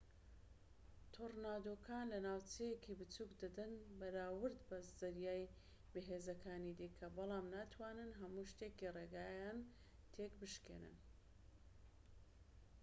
تۆرنادۆکان لە ناوچەیەکی بچووك دەدەن بەراورد بە زریانە بەهێزەکانی دیکە بەڵام ناتوانن هەموو شتێکی ڕێگایان تێک بشکێنن